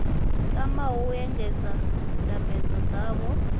tamaho u engedza ndambedzo dzavho